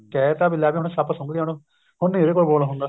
ਕਹਿ ਤਾ ਵੀ ਲੱਗਦਾ ਸੱਪ ਸੁੰਗ ਗਿਆ ਉਹਨੂੰ ਹੁਣ ਨੀ ਇਹਦੇ ਤੋਂ ਬੋਲ ਹੁੰਦਾ